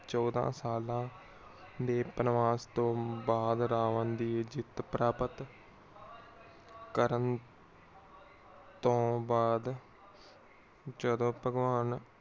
ਚੋਦਾਂ ਸਾਲਾਂ ਦੇ ਬਨਵਾਸ ਤੋਂ ਬਾਦ ਰਾਵਨ ਦੀ ਜਿੱਤ ਪ੍ਰਾਪਤ ਕਰਨ ਤੋਂ ਬਾਅਦ ਜਦੋ ਭਗਵਾਨ